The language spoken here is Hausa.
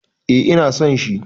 Eh ina son shi.